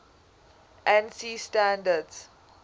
ansi standards